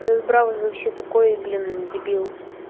этот браун вообще такой блин дебил